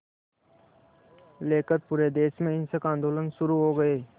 लेकर पूरे देश में हिंसक आंदोलन शुरू हो गए